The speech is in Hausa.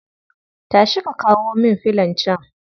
Tashi ka kawo min filon can